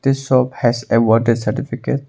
This shop has awarded certificate.